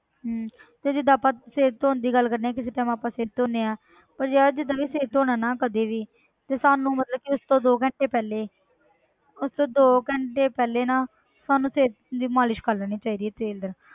ਹਮ ਤੇ ਜਿੱਦਾਂ ਆਪਾਂ ਸਿਰ ਧੌਣ ਦੀ ਗੱਲ ਕਰਦੇ ਹਾਂ ਕਿਸੇ time ਆਪਾਂ ਸਿਰ ਧੋਂਦੇ ਹਾਂ ਪਰ ਯਾਰ ਜਿੱਦਾਂ ਵੀ ਸਿਰ ਧੌਣਾ ਨਾ ਕਦੇ ਵੀ ਤੇ ਸਾਨੂੰ ਮਤਲਬ ਕਿ ਉਸ ਤੋਂ ਦੋ ਘੰਟੇ ਪਹਿਲੇ ਉਸ ਤੋਂ ਦੋ ਘੰਟੇ ਪਹਿਲੇ ਨਾ ਸਾਨੂੰ ਤੇਲ ਦੀ ਮਾਲਿਸ਼ ਕਰ ਲੈਣੀ ਚਾਹੀਦੀ ਹੈ ਤੇਲ ਦੇ ਨਾਲ,